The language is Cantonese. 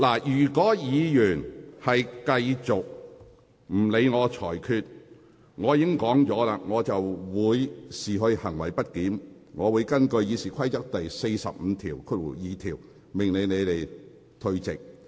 如果議員繼續不理會我的裁決，正如我剛才所說，我會視之為行為極不檢點，並會根據《議事規則》第452條，命令有關議員退席。